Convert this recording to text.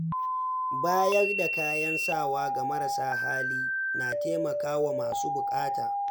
Bayar da kayan sawa ga marasa hali na taimaka wa masu bukata.